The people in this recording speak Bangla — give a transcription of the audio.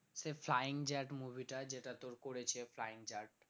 সে flying জাট movie টা যেটা তোর করেছে flying জাট